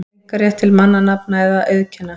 einkarétt til mannanafna eða auðkenna.